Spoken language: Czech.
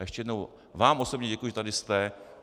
A ještě jednou vám osobně děkuji, že tady jste.